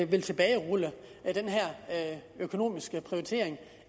vil tilbagerulle den her økonomiske prioritering